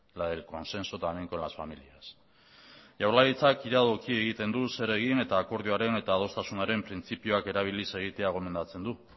la del consenso también con las familias jaurlaritzak iradoki egiten du zer egin eta akordioaren eta adostasunaren printzipioak erabiliz egitea gomendatzen du